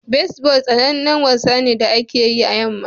Baseball sanannen wasa ne da ake yi a yamma